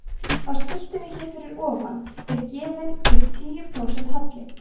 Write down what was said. á skiltinu hér fyrir ofan er gefinn upp tíu prósent halli